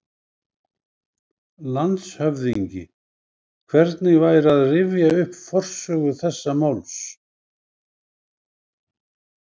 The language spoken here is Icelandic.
LANDSHÖFÐINGI: Hvernig væri að rifja upp forsögu þessa máls?